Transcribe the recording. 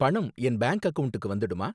பணம் என் பேங்க் அக்கவுண்ட்க்கு வந்துடுமா?